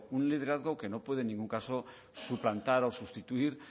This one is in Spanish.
un liderazgo que no puede en ningún caso suplantar o sustituir